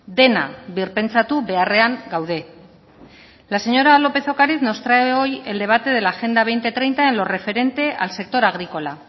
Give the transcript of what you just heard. dena birpentsatu beharrean gaude la señora lópez de ocariz nos trae hoy el debate de la agenda dos mil treinta en lo referente al sector agrícola